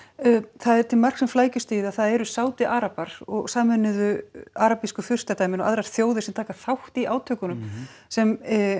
það er til marks um flækjustigið að það eru Sádi arabar og Sameinuðu arabísku furstadæmin og aðrar þjóðir sem taka þátt í átökunum sem